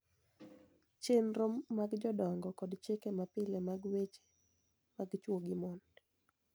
Chenro mag jodongo kod chike mapile mag weche mag chwo gi mon